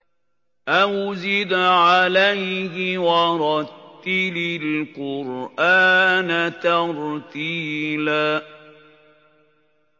أَوْ زِدْ عَلَيْهِ وَرَتِّلِ الْقُرْآنَ تَرْتِيلًا